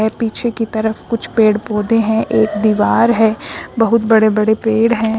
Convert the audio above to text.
ये पीछे की तरफ कुछ पेड़ पौधे हैं एक दीवार है बहुत बड़े बड़े पेड़ हैं।